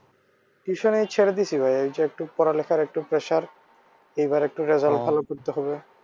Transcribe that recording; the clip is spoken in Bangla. Tuition এ ছেড়ে দিসি ভাই এইযে একটু পড়ালেখার একটু pressure এইবার একটু result ভালো করতে হবে।